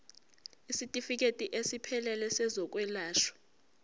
isitifikedi esiphelele sezokwelashwa